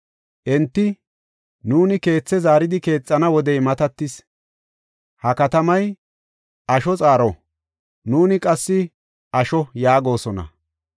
Enti, ‘Nuuni keethe zaaridi keexana wodey matatis. Ha katamay asho xaaro; nuuni qassi asho’ yaagosona.